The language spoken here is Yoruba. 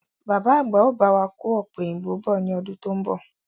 Bàbá àgbà ó bá wà kò ọ̀pẹ̀yìnbo bọ̀ ni ọdún to ń bọ̀.